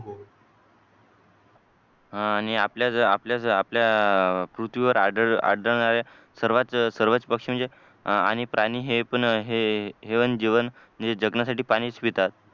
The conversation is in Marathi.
आणि आपल्या आपल्या आपल्या पृथ्वीवर आढळ आढळणारा सर्व पक्षी म्हणजे आणि प्राणी हे पण जीवन जीवन जगण्यासाठी पाणीच पितात